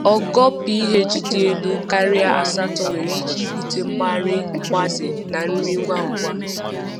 Ogo pH dị elu karịa asatọ nwere ike ibute mgbari mgbaze na nri ngwa ngwa.